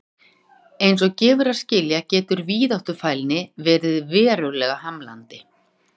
Eins og gefur að skilja getur víðáttufælni verið verulega hamlandi.